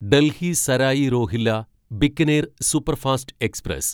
Delhi Sarai Rohilla Bikaner superfast express